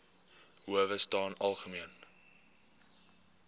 howe staan algemeen